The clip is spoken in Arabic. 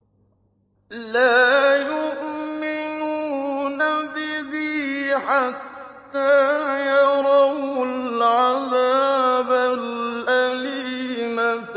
لَا يُؤْمِنُونَ بِهِ حَتَّىٰ يَرَوُا الْعَذَابَ الْأَلِيمَ